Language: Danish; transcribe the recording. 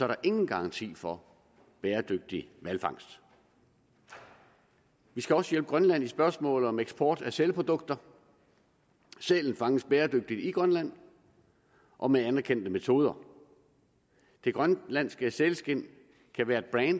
der ingen garanti for bæredygtig hvalfangst vi skal også hjælpe grønland i spørgsmålet om eksport af sælprodukter sælen fanges bæredygtigt i grønland og med anerkendte metoder det grønlandske sælskind kan være